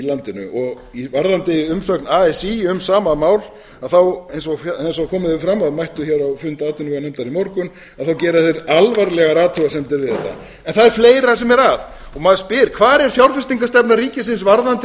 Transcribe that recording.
landinu varðandi umsögn así um sama mál þá eins g komið hefur fram að mættu á fund atvinnuveganefndar í morgun þá gera þeir alvarlegar athugasemdir við þetta en það er fleira sem er og maður spyr hvar er fjárfestingarstefna ríkisins varðandi